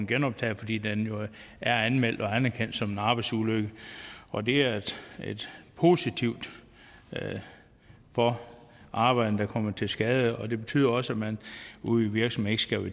genoptaget fordi den jo er anmeldt og anerkendt som en arbejdsulykke og det er positivt for arbejderne der kommer til skade og det betyder også at man ude i virksomhederne